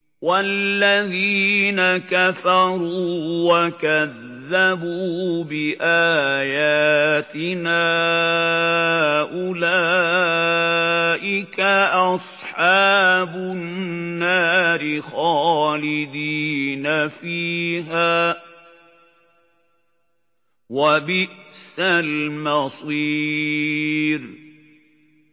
وَالَّذِينَ كَفَرُوا وَكَذَّبُوا بِآيَاتِنَا أُولَٰئِكَ أَصْحَابُ النَّارِ خَالِدِينَ فِيهَا ۖ وَبِئْسَ الْمَصِيرُ